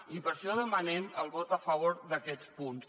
i per això demanem el vot a favor d’aquests punts